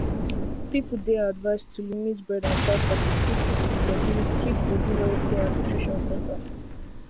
people dey advised to limit bread and pasta to keep body keep body healthy and nutrition better